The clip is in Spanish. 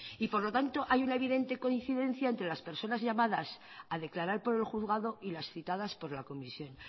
y por lo tanto hay una evidente coincidencia entre las personas llamadas a declarar por el juzgado y las citadas por la comisión